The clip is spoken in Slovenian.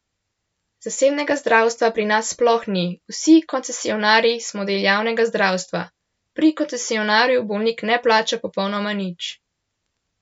Zasebnega zdravstva pri nas sploh ni, vsi koncesionarji smo del javnega zdravstva, pri koncesionarju bolnik ne plača popolnoma nič!